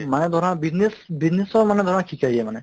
মানে ধৰা business business ৰ মানে ধৰা শিকাই দিয়ে মানে